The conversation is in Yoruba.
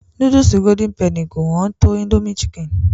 Núdùsù Golden penny kò hán tó Indomie chicken.